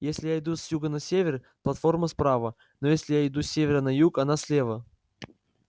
если я иду с юга на север платформа справа но если я иду с севера на юг она слева